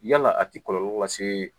Yalaa a ti kɔlɔlɔ lasee